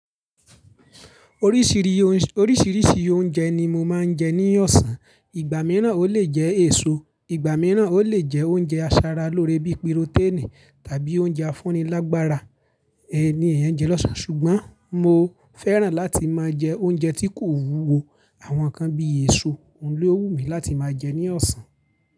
Oríṣìríṣi oúnjẹ ni mo máa ń jẹ ní ọ̀sán. Ìgbà mìíràn ó lè jẹ èso, ìgbà mìíràn ó lè jẹ oúnjẹ asaralóore bíi píroténì tàbí oúnjẹ afúnilágbára ni èèyàn jẹ lọ́sàn-án. Ṣùgbọ́n mo fẹ́ràn láti máa jẹ oúnjẹ tí kò wúwo. Àwọn kan bí èso, òun ló wù mí láti máa jẹ ní ọ̀sán.